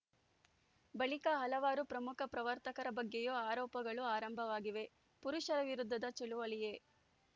ಬಳಿಕ ಹಲವಾರು ಪ್ರಮುಖ ಪತ್ರಕರ್ತರ ಬಗ್ಗೆಯೂ ಆರೋಪಗಳು ಆರಂಭವಾಗಿವೆ ಪುರುಷರ ವಿರುದ್ಧದ ಚಳವಳಿಯೇ